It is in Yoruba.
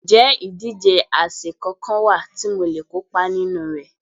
Ǹjẹ́ ìdíje àsè kankan wà tí mo le kópa nínú rẹ̀?